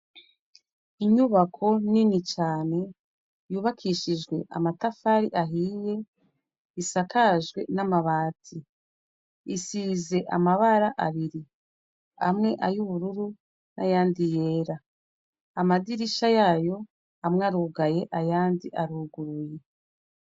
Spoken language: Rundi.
Inyubako Nini cane yubakishijwe amatafari ahiye isakajwe n'amabati. isizwe amabara abiri amwe ay'ubururu ayandi yera. Amadirisha yayo amwe arugaye ayandi aruguruye.